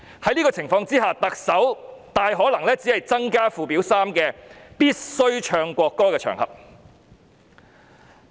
在這種情況下，特首大可能只是增加附表3的內容。